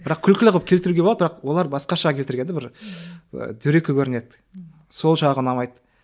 бірақ күлкілі қылып келтіруге болады бірақ олар басқаша келтірген де бір і дөрекі көрінеді сол жағы ұнамайды